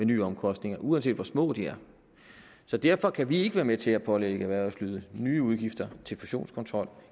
nye omkostninger uanset hvor små de er derfor kan vi ikke være med til at pålægge erhvervslivet nye udgifter til fusionskontrol